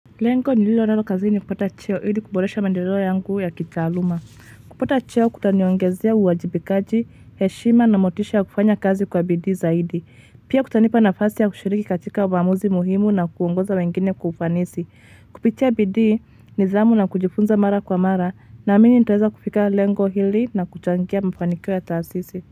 Lengo nililonalo kazini ni kupata cheo ili kubolesha maendeleo yangu ya kitaaluma. Kupata cheo kutaniongezea uwajibikaji, heshima na motisha ya kufanya kazi kwa bidii zaidi. Pia kutanipa nafasi ya kushiriki katika uamuzi muhimu na kuongoza wengine kwa ufanisi. Kupitia bidii nidhamu na kujifunza mara kwa mara na amini nitaweza kufika lengo hili na kuchangia mafanikio ya taasisi.